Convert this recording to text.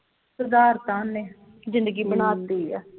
ਸੁਧਾਰ ਤਾਂ ਉਹਨੇ ਜਿੰਦਗੀ ਬਣਾ ਤੀ ਆ